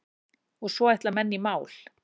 Og svo ætla menn í mál.